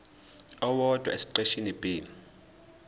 owodwa esiqeshini b